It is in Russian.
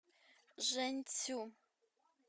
жэньцю